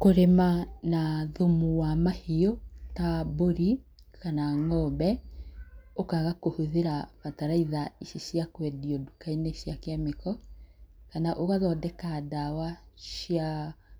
Kũrĩma na thumu wa mahiũ, ta mbũri kana ng'ombe ũkaga kũhũthĩra bataraitha ici cia kwendio nduka-inĩ cia kĩmĩko kana ũgathondeka ndawa cia